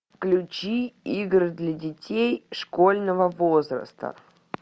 включи игры для детей школьного возраста